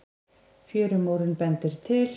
Fjörumórinn bendir til